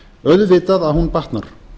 auðvitað að hún batnar